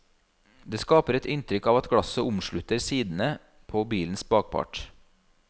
Det skaper et inntrykk av at glasset omslutter sidene på bilens bakpart.